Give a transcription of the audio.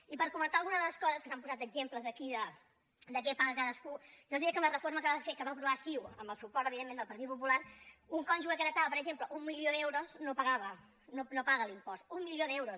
i per comentar alguna de les coses que s’han posat d’exemples aquí de què paga cadascú jo els diré que amb la reforma que va aprovar ciu amb el suport evidentment del partit popular un cònjuge que heretava per exemple un milió d’euros no pagava no paga l’impost un milió d’euros